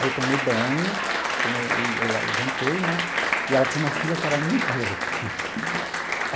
Aí eu tomei banho, tomei e jantei né, e ela tinha uma filha que era muito louca.